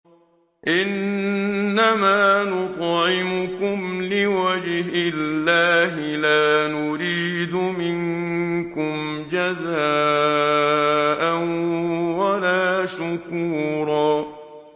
إِنَّمَا نُطْعِمُكُمْ لِوَجْهِ اللَّهِ لَا نُرِيدُ مِنكُمْ جَزَاءً وَلَا شُكُورًا